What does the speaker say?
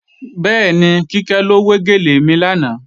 Bẹ́ẹ̀ni, Kíkẹ́ ló wé gèlè mi lánàá